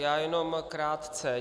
Já jenom krátce.